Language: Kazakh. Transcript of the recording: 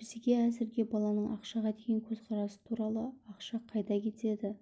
бізге әзірге баланың ақшаға деген көзқарасы туралы ақша қайда кетеді